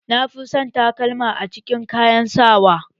Na fi son takalma a cikin kayan sawa